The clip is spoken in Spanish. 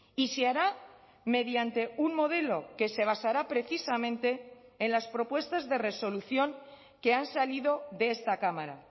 y se hará mediante un modelo que se basará precisamente en las propuestas de resolución que han salido de esta cámara